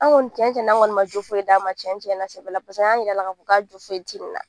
Anw kɔni cɛncɛn na an kɔni ma jo foyi d'a ma cɛn tiɲɛna na sɛbɛ la an y'a jira a la k'a fɔ k'a jo foyi ti nin na